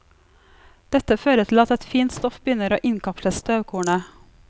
Dette fører til at et fint stoff begynner å innkapsle støvkornet.